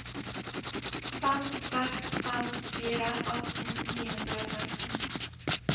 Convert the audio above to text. fem seks fem fire atten ni hundre og seksten